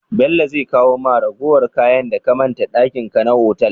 Bello zai kawo ma ragowar kayan da ka manta dakin ka na otal?